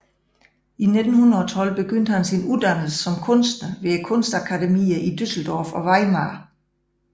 I 1912 begyndte han sin uddannelse som kunstner ved kunstakademierne i Düsseldorf og Weimar